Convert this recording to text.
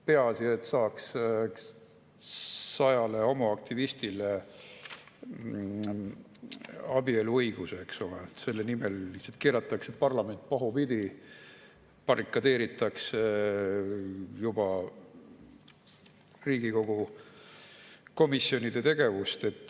Peaasi, et saaks sajale homoaktivistile abieluõiguse, selle nimel keeratakse parlament pahupidi, barrikadeeritakse juba Riigikogu komisjonide tegevust.